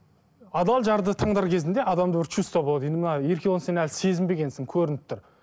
адал жарды таңдар кезінде адамда бір чувство болады енді мына еркебұлан сен әлі сезінбегенсің көрініп тұр